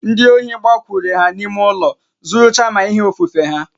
Ndi ohi gbakwuru ha n'ime ụlọ zuru chaa ma ihe ofufe ha